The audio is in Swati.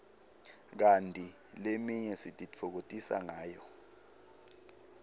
kanti leminye sititfokotisa ngayo